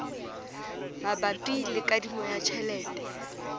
mabapi le kadimo ya tjhelete